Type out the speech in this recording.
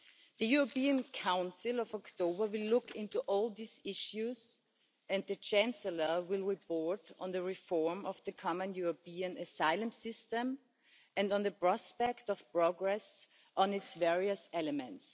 The European Council in October will look into all these issues, and the Chancellor will report on the reform of the Common European Asylum System and on the prospect of progress on its various elements.